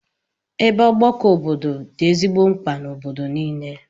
Ebe ọgbakọ obodo dị ezigbo mkpa n'obodo niile.